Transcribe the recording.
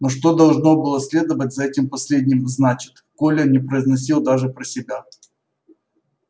но что должно было следовать за этим последним значит коля не произносил даже про себя